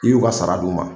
I y'u ka sara d'u ma